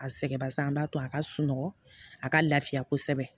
A sɛgɛn basan an b'a to a ka sunɔgɔ a ka lafiya kosɛbɛ